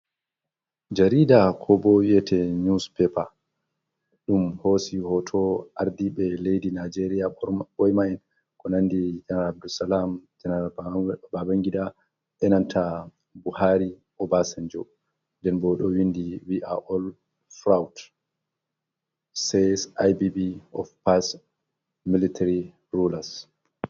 Jariida, koobo wiyate niwuspeepa, ɗum hoosi hooto aardiiɓe leydi najeerya ɓoyma`en, ko nanndi janaral Abdusalam, janaral Babangida, be nanta Buhaari, Obasanjo, nden bo ɗo winndi wi'a ol furawdas seys Ibb of pas militiri ruulas.